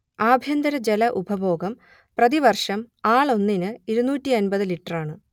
ആഭ്യന്തര ജല ഉപഭോഗം പ്രതിവർഷം ആളൊന്നിന് ഇരുന്നൂറ്റിയമ്പത് ലിറ്ററാണ്